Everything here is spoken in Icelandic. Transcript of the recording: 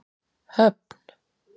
Höfn